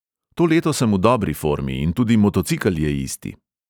To leto sem v dobri formi in tudi motocikel je isti.